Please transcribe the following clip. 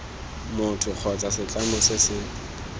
motho kgotsa setlamo se se